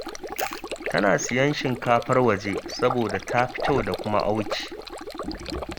Tana siyan shinkafar waje, saboda ta fi kyau da auki